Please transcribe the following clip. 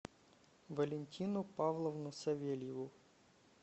валентину павловну савельеву